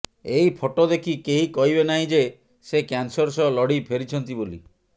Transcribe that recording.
ଏହି ଫଟୋ ଦେଖି କେହି କହିବେ ନାହିଁ ଯେ ସେ କ୍ୟାନସର ସହ ଲଢ଼ି ଫେରିଛନ୍ତି ବୋଲି